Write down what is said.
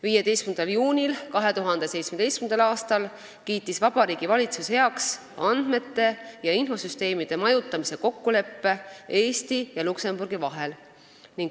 15. juunil 2017. aastal kiitis Vabariigi Valitsus heaks andmete ja infosüsteemide majutamise kokkuleppe Eesti ja Luksemburgi vahel.